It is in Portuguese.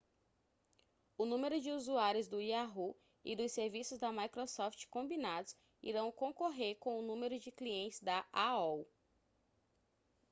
o número de usuários do yahoo e dos serviços da microsoft combinados irão concorrer com o número de clientes da aol